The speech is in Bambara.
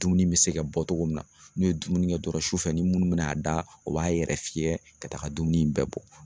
Dumuni bɛ se ka bɔ cogo min na n'u ye dumuni kɛ dɔrɔn su fɛ ni minnu bɛna'a da o b'a yɛrɛ fiyɛ ka taga dumuni bɛɛ bɔ